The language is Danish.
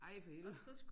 Ej for helvede